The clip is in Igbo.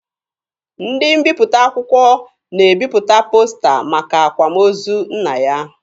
Ndị mbiputa akwụkwọ na-ebipụta posta maka akwamozu nna ya.